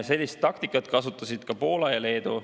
Sellist taktikat kasutasid ka Poola ja Leedu.